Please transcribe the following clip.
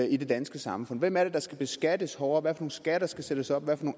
i det danske samfund hvem er det der skal beskattes hårdere hvad for nogle skatter skal sættes op hvad for